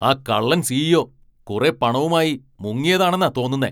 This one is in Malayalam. ആ കള്ളൻ സി.ഇ.ഒ. കുറെ പണവുമായി മുങ്ങിയതാണെന്ന തോന്നുന്നെ.